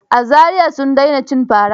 A Zariya sun daina cin fara.